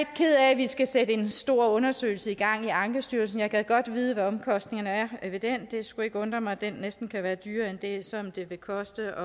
at vi skal sætte en stor undersøgelse i gang i ankestyrelsen jeg gad godt vide hvad omkostningerne er ved den det skulle ikke undre mig at den næsten kunne være dyrere end det som det ville koste